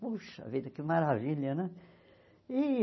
Puxa vida, que maravilha, né? E